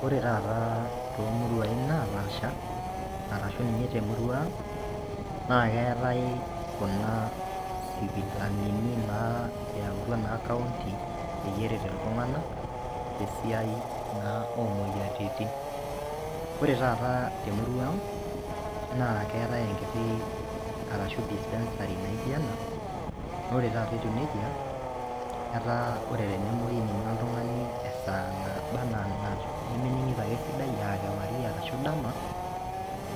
Wore taata toomuruain naapaasha, arashu ninye temurua ang', naa keetae kuna sipitalini naa eautua naa counti peyie eret iltunganak, tesiai naa oomoyiaritin. Wore taata temurua ang', naa keetae enkiti arashu dispensary naijo ena, naa wore taata etiu nejia, etaa wore tenemoi ninye oltungani esaa naba enaa nemeningito ake esidai, aa kewarie ashu dama,